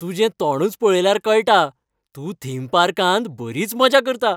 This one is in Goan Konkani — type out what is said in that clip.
तुजे तोंडूच पळयल्यार कळटा, तूं थीम पार्कांत बरीच मजा करता.